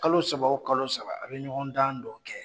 Kalo saba o kalo saba a bɛ ɲɔgɔndan dɔ kɛ